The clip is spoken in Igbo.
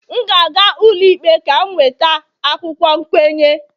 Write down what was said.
M ga-aga ụlọikpe ka m nweta akwụkwọ nkwenye